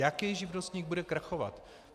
Jaký živnostník bude krachovat?